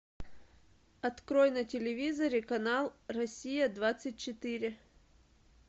открой на телевизоре канал россия двадцать четыре